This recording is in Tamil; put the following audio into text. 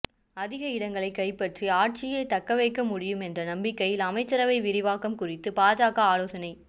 அதிக இடங்களைக் கைப்பற்றி ஆட்சியை தக்க வைக்க முடியும் என்ற நம்பிக்கையில் அமைச்சரவை விரிவாக்கம் குறித்து பாஜக ஆலோசனை